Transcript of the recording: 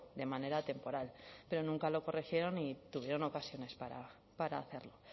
de manera temporal pero nunca lo corrigieron y tuvieron ocasiones para hacerlo